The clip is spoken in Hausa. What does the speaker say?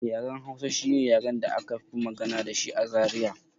Yaren Hausa shine yaren da aka fi magana dashi a Zaria